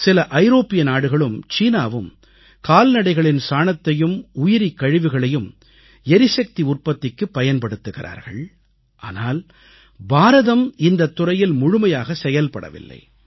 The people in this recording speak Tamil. சில ஐரோப்பிய நாடுகளும் சீனாவும் கால்நடைகளின் சாணத்தையும் உயிரிக் கழிவுகளையும் எரிசக்தி உற்பத்திக்குப் பயன்படுத்துகிறார்கள் ஆனால் பாரதம் இந்தத் துறையில் முழுமையாக செயல்படவில்லை